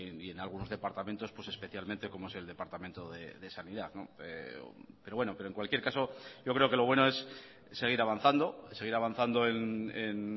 y en algunos departamentos pues especialmente como es el departamento de sanidad pero bueno pero en cualquier caso yo creo que lo bueno es seguir avanzando seguir avanzando en